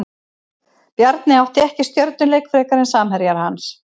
Bjarni átti ekki stjörnuleik frekar en samherjar hans.